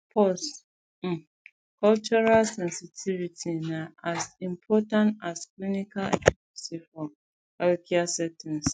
pause um cultural sensitivity na as important as clinical accuracy for healthcare settings